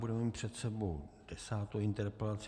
Budeme mít před sebou desátou interpelaci.